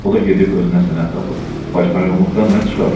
O da gedib özünə sənət tapıb poçtalyonluqdan nə çıxar?